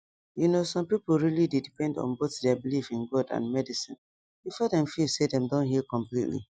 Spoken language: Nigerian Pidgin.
you know some people really dey depend on both their belief in god and medicine before dem feel say dem don heal completely